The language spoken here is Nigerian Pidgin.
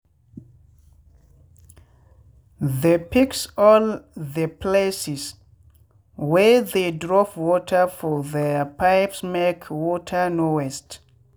they fix all the places wey they drop water for their pipesmake water no waste.